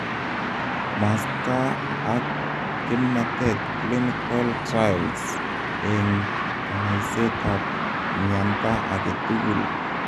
masta ap kimnatet clinical trials eng kanyaiseet ab myanta age tugul